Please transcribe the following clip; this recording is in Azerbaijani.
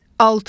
Altı.